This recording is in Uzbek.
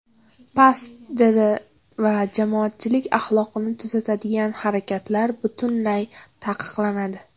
Past did va jamoatchilik axloqini buzadigan harakatlar butunlay taqiqlanadi”.